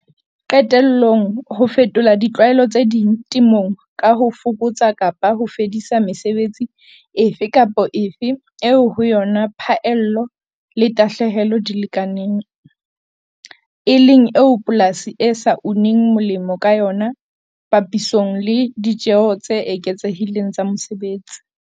Qetellong, ho fetola ditlwaelo tse ding temong ka ho fokotsa kapa ho fedisa mesebetsi efe kapa efe eo ho yona phaello le tahlehelo di lekanang, e leng eo polasi e sa uneng molemo ka yona papisong le ditjeo tse eketsehileng tsa mosebetsi.